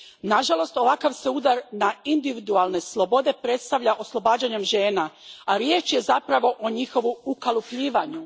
Nažalost, ovakav se udar na individualne slobode predstavlja oslobađanjem žena, a riječ je zapravo o njihovu ukalupljivanju.